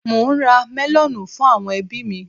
Mò ń ra mẹlọ̀nù fún àwọn ẹbí mi.